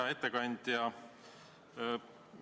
Hea ettekandja!